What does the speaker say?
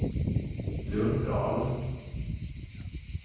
Lundahl